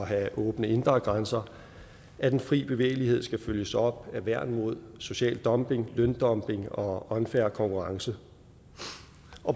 have åbne indre grænser at den frie bevægelighed skal følges op af værn mod social dumping løndumping og unfair konkurrence